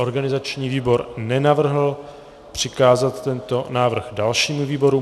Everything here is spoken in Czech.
Organizační výbor nenavrhl přikázat tento návrh dalšímu výboru.